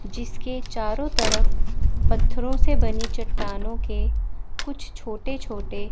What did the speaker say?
जिसके चारों तरफ पत्थरों से बनी चट्टानों के कुछ छोटे छोटे--